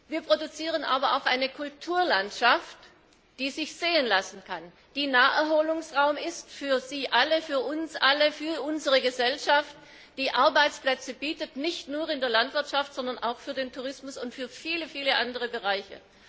Wir produzieren aber auch eine Kulturlandschaft, die sich sehen lassen kann, die Naherholungsraum ist für Sie alle, für uns alle, für unsere Gesellschaft, die Arbeitsplätze bietet, nicht nur in der Landwirtschaft, sondern auch im Tourismus und in vielen anderen Bereichen.